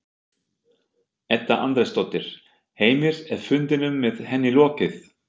Edda Andrésdóttir: Heimir, er fundinum með henni lokið?